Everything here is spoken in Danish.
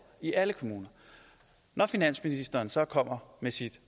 i alle kommuner når finansministeren så kommer med sit